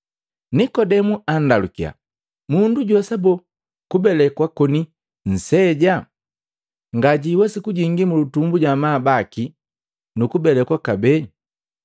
Nikodemu anndalukiya, “Mundu juwesa boo kubelekwa koni msejaa? Ngajiwesi kujingi mulutumbu ja amabaki nu kubelekwa kabee!”